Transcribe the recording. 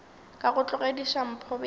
ka go tlogediša mpho bjala